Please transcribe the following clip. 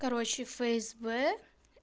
короче фсб